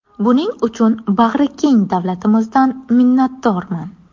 Buning uchun bag‘rikeng davlatimizdan minnatdorman”.